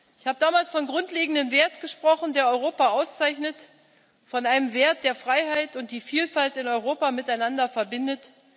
Ich habe damals von einem grundlegenden Wert gesprochen, der Europa auszeichnet, von einem Wert, der Freiheit und die Vielfalt in Europa miteinander verbindet.